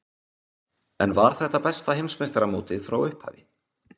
En var þetta besta Heimsmeistaramótið frá upphafi?